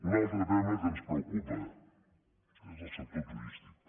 un altre tema que ens preocupa és el sector turístic